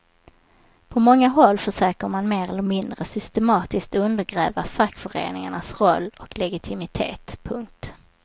På många håll försöker man mer eller mindre systematiskt undergräva fackföreningarnas roll och legitimitet. punkt